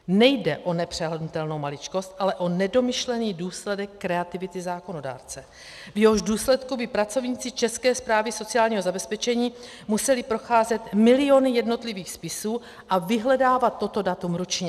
Nejde o nepřehlédnutelnou maličkost, ale o nedomyšlený důsledek kreativity zákonodárce, v jehož důsledku by pracovníci České správy sociálního zabezpečení museli procházet miliony jednotlivých spisů a vyhledávat toto datum ručně.